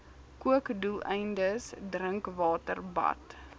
kookdoeleindes drinkwater bad